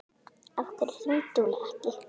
Af hverju hringdi hún ekki?